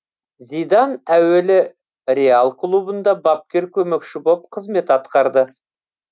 зидан әуелі реал клубында бапкер көмекшісі боп қызмет атқарды